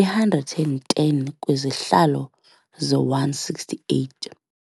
i-110 kwizihlalo ze-168.